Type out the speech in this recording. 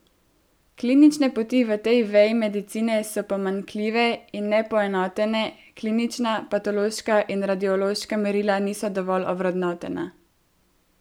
Klinične poti v tej veji medicine so pomanjkljive in ne poenotene, klinična, patološka in radiološka merila niso dovolj ovrednotena.